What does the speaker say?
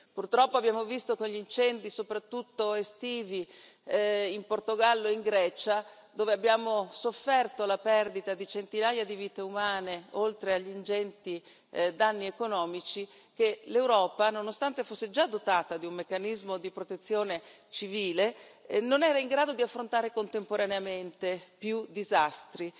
Purtroppo abbiamo visto con gli incendi, soprattutto estivi in Portogallo e in Grecia, dove abbiamo sofferto la perdita di centinaia di vite umane, oltre agli ingenti danni economici, che l'Europa, nonostante fosse già dotata di un meccanismo di protezione civile, non era in grado di affrontare contemporaneamente più disastri.